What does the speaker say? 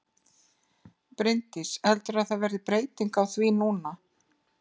Bryndís: Heldurðu að það verði breyting á því núna?